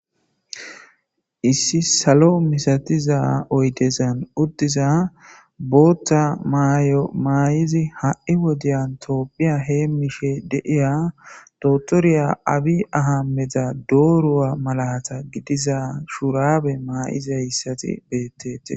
Issi salo misatiza oydezan uddiza boothta mayo maay7izi ha7i wodiyan toopphiya heemmishe deiya dotoriya abi ahammeda dooruwa malata gidiza shurabe maayizayssati beettetii